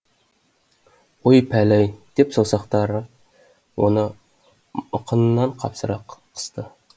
ой пәлі ай деп саусақтар оны мықынынан қапсыра қысты